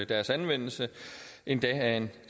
deres anvendelse endda af en